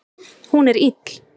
Hún er ill.